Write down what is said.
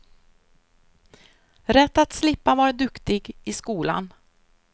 Rätt att slippa vara duktig i skolan.